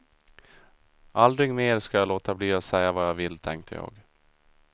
Aldrig mer ska jag låta bli att säga vad jag vill, tänkte jag.